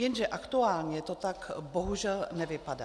Jenže aktuálně to tak bohužel nevypadá.